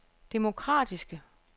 demokratiske